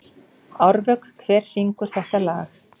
Árvök, hver syngur þetta lag?